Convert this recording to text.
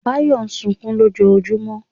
Báyọ̀ sunkún lójoojúmọ́.